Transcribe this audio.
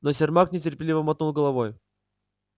но сермак нетерпеливо мотнул головой